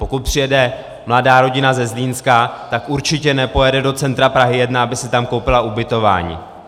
Pokud přijede mladá rodina ze Zlínska, tak určitě nepojede do centra Prahy 1, aby si tam koupila ubytování.